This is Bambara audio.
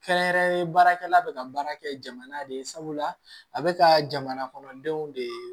Kɛrɛnkɛrɛnnen baarakɛla bɛ ka baara kɛ jamana de sabula a bɛ ka jamana kɔnɔdenw de